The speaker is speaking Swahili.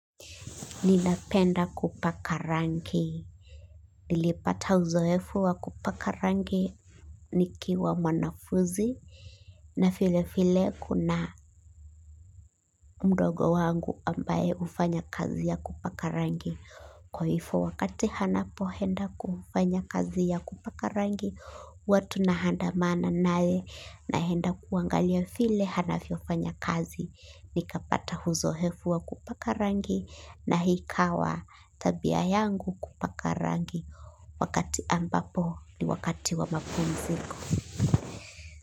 Ninapenda kupaka rangi, nilipata uzoefu wa kupaka rangi nikiwa mwanafuzi, na vilevile kuna mdogo wangu ambaye hufanya kazi ya kupaka rangi. Kwa hivyo wakati anapoenda kufanya kazi ya kupaka rangi, huwa tunaandamana naye naenda kuangalia vile anavyofanya kazi. Nikapata uzoefu wa kupaka rangi na ikawa tabia yangu kupaka rangi. Wakati ambapo ni wakati wa mapumziko.